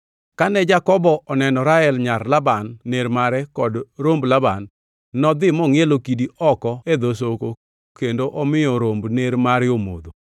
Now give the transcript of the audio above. Kane Jakobo oneno Rael, nyar Laban ner mare kod romb Laban, nodhi mongʼielo kidi oko e dho soko kendo omiyo romb ner mare omodho.